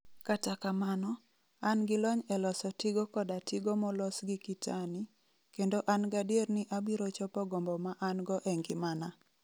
Kata kamano, an gi lony e loso tigo koda tigo molos gi kitani, kendo an gadier ni abiro chopo gombo ma an-go e ngimana.